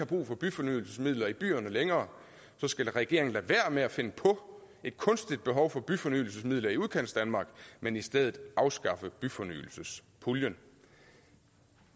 brug for byfornyelsesmidler i byerne længere skal regeringen lade være med at finde på et kunstigt behov for byfornyelsesmidler i udkantsdanmark men i stedet afskaffe byfornyelsespuljen